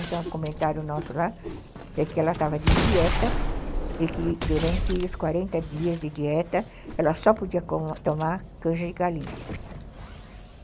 Então, o comentário nosso lá é que ela estava de dieta e que durante os quarenta dias de dieta ela só podia tomar canja de galinha.